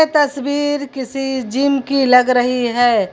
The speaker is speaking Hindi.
तस्वीर किसी जिम की लग रही है।